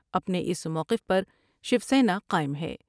اپنے اس موقف پر شیوسینا قائم ہے ۔